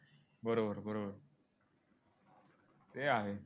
बरोबर बरोबर ते आहे.